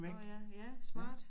Nåh ja ja smart